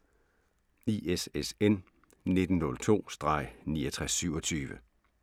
ISSN 1902-6927